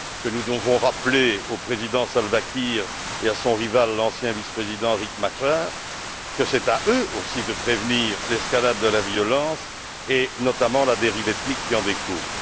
Nous devons rappeler au Président Salva Kiir et à son rival, l'ancien vice président Rieck Machar, que c'est à eux aussi de prévenir l'escalade de la violence et notamment la dérive ethnique qui en découle.